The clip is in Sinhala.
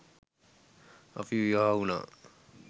අපි විවාහ වුණා